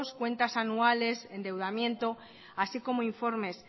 cuentas anuales endeudamiento así como informes